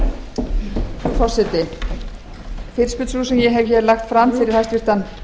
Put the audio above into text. frú forseti fyrirspurn sú sem ég hef hér lagt fram fyrir hæstvirtan